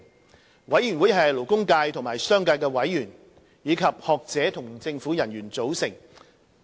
最低工資委員會由勞工界和商界的委員、學者和政府人員組成。